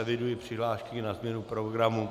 Eviduji přihlášky na změnu programu.